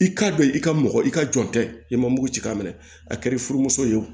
I k'a dɔn i ka mɔgɔ i ka jɔn tɛ i ma mugu ci k'a minɛ a kɛr'i furumuso ye wo